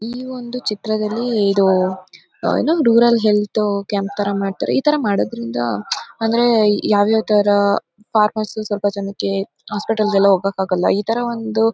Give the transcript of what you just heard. ಈ ಒಂದು ಚಿತ್ರದಲ್ಲಿ ಇದು ಏನೋ ರೂರಲ್ ಹೆಲ್ತ್ ಕ್ಯಾಂಪ್ ತರ ಮಾಡ್ತಾರೆ ಈ ತರ ಮಾಡೋದ್ರಿಂದ ಅಂದ್ರೆ ಯಾವ್ಯಾವ ತರ ಫಾರ್ಮರ್ಸ್ ಸ್ವಲ್ಪ ಜನಕ್ಕೆ ಹಾಸ್ಪಿಟಲ್ ಗೆ ಹೋಗಕ್ಕೆ ಎಲ್ಲ ಆಗಲ್ಲ ಈ ತರ ಒಂದು--